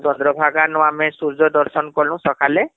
ଚନ୍ଦ୍ରଭାଗା ନୁ ଆମେ ସୂର୍ଯ୍ୟ ଦର୍ଶନ କନୁ ସଖାଳେ